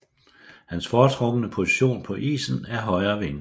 Hans foretrukne position på isen er højre wing